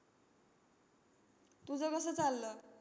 तुझं कसं चाललं?